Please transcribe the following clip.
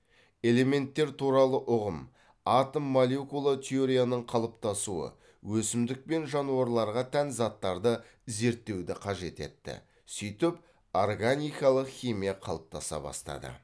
элементтер туралы ұғым атом молекула теорияның қалыптасуы өсімдік пен жануарларға тән заттарды зерттеуді қажет етті сөйтіп органикалық химия қалыптаса бастады